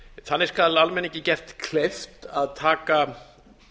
þannig skal almenningi gert kleift að taka